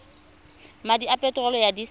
madi a peterolo ya disele